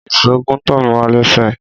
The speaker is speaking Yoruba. Ìsó gún tọmíwà lẹsẹ